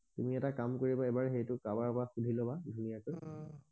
তুমি এটা কাম কৰিব এবাৰ সেইটো কাৰ বাক বা সুধি লবা ধুনীয়াকে অহ